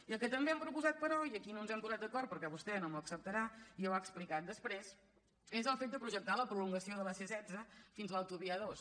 i el que també hem proposat però i aquí no ens hem posat d’acord perquè vostè no m’ho acceptarà i ja ho ha explicat després és el fet de projectar la prolon·gació de la c·setze fins a l’autovia a·dos